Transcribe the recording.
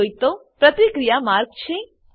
આ જોઈતો પ્રતિક્રિયા માર્ગ છે